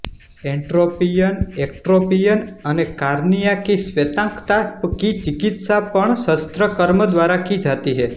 entropion ectropion અને cornea કી શ્વેતાંકતા કી ચિકિત્સા પણ શસ્ત્રકર્મ દ્વારા કી જાતી છે